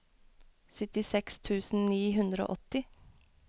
syttiseks tusen ni hundre og åtti